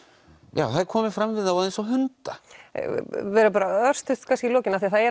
já það er komið fram við þá eins og hunda örstutt í lokin af því það er